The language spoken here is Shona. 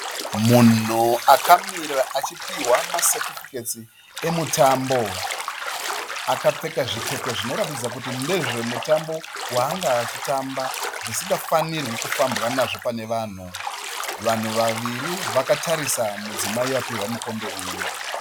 Munhu akamira achipihwa masetifiketsi emutambo. Akapfeka zvipfeko zvinoratidza kuti ndezvemutambo waanga achitamba zvisingafanirwe kufambwa nazvo pane vanhu. Vanhu vaviri vatarisa mudzimai apihwa mukombe uyu